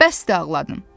Bəsdi ağladın!